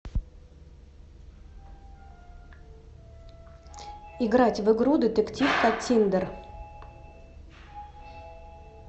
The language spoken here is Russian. играть в игру детектив каттиндер